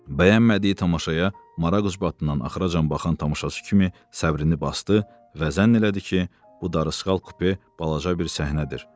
Bəyənmədiyi tamaşaya maraq ucbatından axıracan baxan tamaşaçı kimi səbrini basdı və zənn elədi ki, bu darısqal kupe balaca bir səhnədir.